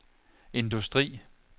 industri